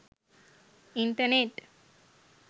internet